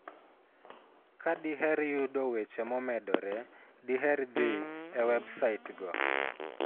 Ka diher yudo weche momedore, diher dhi e websaitgo.